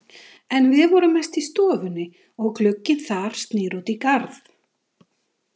En við vorum mest í stofunni og glugginn þar snýr út í garð.